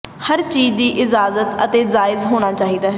ਹਰ ਚੀਜ਼ ਦੀ ਇਜਾਜ਼ਤ ਹੈ ਅਤੇ ਜਾਇਜ਼ ਹੋਣਾ ਚਾਹੀਦਾ ਹੈ